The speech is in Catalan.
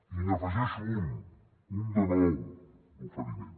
i n’afegeixo un un de nou d’oferiment